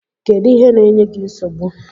Kedu ihe na-enye gi nsogbu?